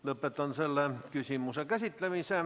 Lõpetan selle küsimuse käsitlemise.